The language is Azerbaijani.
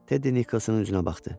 Tedi Nikolsonun üzünə baxdı.